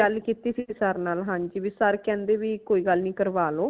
ਗੱਲ ਕੀਤੀ ਸੀ sir ਨਾਲ ਹਾਂਜੀ ਭਾਈ sir ਕਹਿੰਦੇ ਭੀ ਕੋਈ ਗੱਲ ਨਈ ਕਰਵਾ ਲੋ